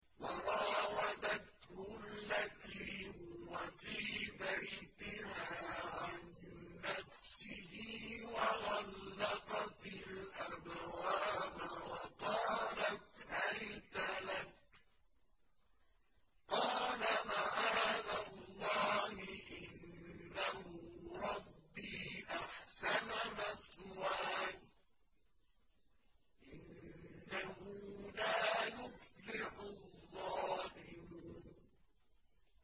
وَرَاوَدَتْهُ الَّتِي هُوَ فِي بَيْتِهَا عَن نَّفْسِهِ وَغَلَّقَتِ الْأَبْوَابَ وَقَالَتْ هَيْتَ لَكَ ۚ قَالَ مَعَاذَ اللَّهِ ۖ إِنَّهُ رَبِّي أَحْسَنَ مَثْوَايَ ۖ إِنَّهُ لَا يُفْلِحُ الظَّالِمُونَ